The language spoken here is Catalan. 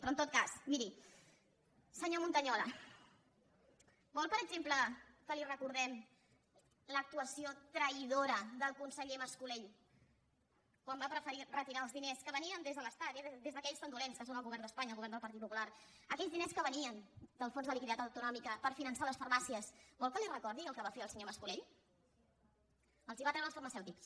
però en tot cas miri senyor montañola vol per exemple que li recordem l’actuació traïdora del conseller mas colell quan va preferir retirar els diners que venien des de l’estat eh des d’aquells tan dolents que són el govern d’espanya el govern del partit popular aquells diners que venien del fons de liquiditat autonòmica per finançar les farmàcies vol que li recordi el que va fer el senyor mas colell els els va treure als farmacèutics